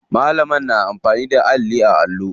Malamar na amfani da alli a allo.